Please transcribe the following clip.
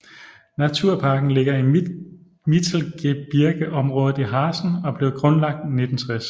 Naturparken ligger i Mittelgebirgeområdet Harzen og blev grundlagt i 1960